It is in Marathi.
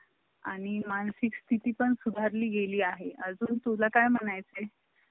आणि मानसिकस्थिति पण सुधारली गेली आहे अजून तुला काय म्हणायचे ?